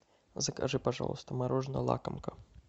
закажи пожалуйста мороженое лакомка